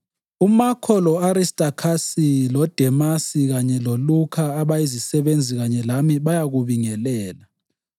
UMakho, lo-Aristakhasi, loDemasi kanye loLukha abayizisebenzi kanye lami bayakubingelela.